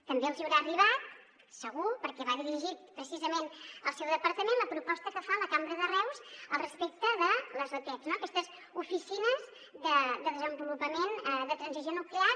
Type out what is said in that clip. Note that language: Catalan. també els hi deu haver arribat segur perquè va dirigida precisament al seu departament la proposta que fa la cambra de reus al respecte de les otes no aquestes oficines de desenvolupament de transició nuclear